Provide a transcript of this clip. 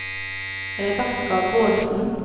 Rebekka Bårdsen